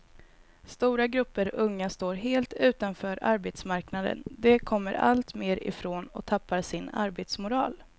Stora grupper unga står helt utanför arbetsmarknaden, de kommer allt mer ifrån och tappar sin arbetsmoral.